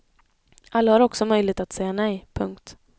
Alla har också möjlighet att säga nej. punkt